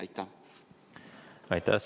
Aitäh!